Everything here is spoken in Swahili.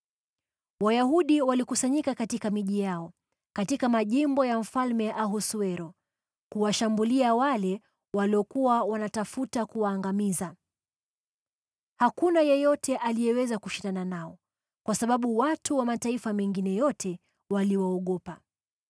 Wayahudi walikusanyika katika miji yao, katika majimbo ya Mfalme Ahasuero kuwashambulia wale waliokuwa wanatafuta kuwaangamiza. Hakuna yeyote aliyeweza kushindana nao, kwa sababu watu wa mataifa mengine yote waliwaogopa.